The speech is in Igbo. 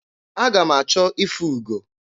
Aga m achọ ịfụ ugo.